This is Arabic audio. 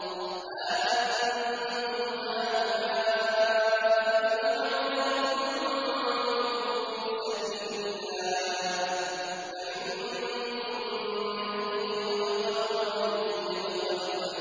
هَا أَنتُمْ هَٰؤُلَاءِ تُدْعَوْنَ لِتُنفِقُوا فِي سَبِيلِ اللَّهِ فَمِنكُم مَّن يَبْخَلُ ۖ وَمَن يَبْخَلْ